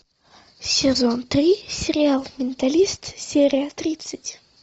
сезон три сериал менталист серия тридцать